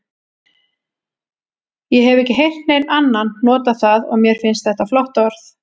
Ég hef ekki heyrt neinn annan nota það og mér finnst þetta flott orð.